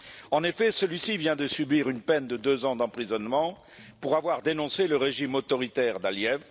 En effet, celui ci vient de subir une peine de deux ans d'emprisonnement pour avoir dénoncé le régime autoritaire d'Aliyev.